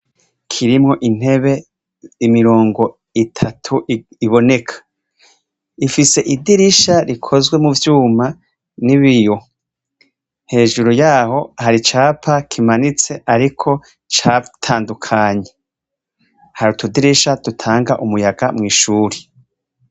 Kirimwo intebe imirongo itatu iboneka ifise idirisha rikozwe mu vyuma n'ibiyo hejuru yaho hari capa kimanitse, ariko caa itandukanyi hari utudirisha dutanga umuyaga mw'ishuri.